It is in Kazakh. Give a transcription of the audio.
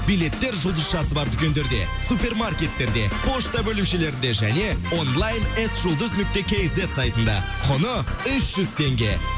билеттер жұлдыз шарты бар дүкендерде супермаркеттерде пошта бөлімшелерінде және онлайн эс жұздыз нүкте кейзет сайтында құны үш жүз теңге